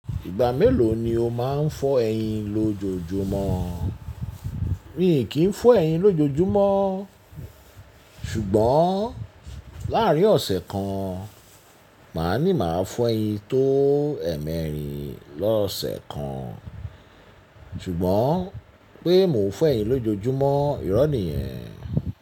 Ìgbà mélòó ni o máa ń fọ ẹyin lójojúmọ́? Mi kì í fọ ẹyin lójojúmọ́ ṣùgbọ́n láàrín ọ̀sẹ̀ kan, màá ní màá fọ ẹyin tó ẹ̀ẹ̀mẹ́rin lọ́sẹ̀ kan ṣùgbọ́n pé mò ń fọ ẹyin lójojúmọ́, ìrọ́ ni yẹn.